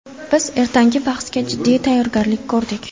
Biz ertangi bahsga jiddiy tayyorgarlik ko‘rdik.